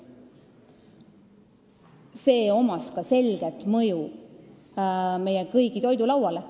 Sel oli ka selge mõju meie kõigi toidulauale.